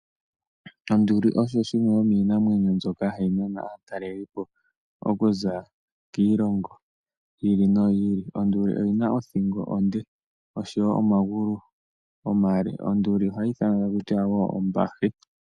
Onduli oyo yimwe yomiinamwenyo mbyoka hayi nana aatalelipo okuza kiilongo yiili noyiili. Onduli oyi na othingo onde, osho wo omagulu omale. Onduli ohayi ithanwa ombahe.